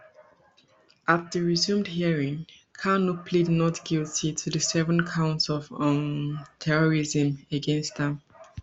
at di resumed hearing kanu plead not guilty to di seven counts of um terrorism against am